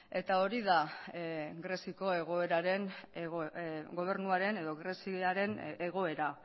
hori da greziako gobernuaren egoera